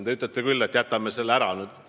Te ütlete küll, et jätame selle ära.